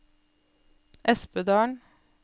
Espedalen